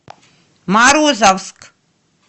морозовск